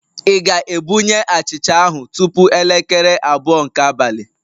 Ị ga-ebunye achịcha ahụ tupu elekere abụọ nke abalị?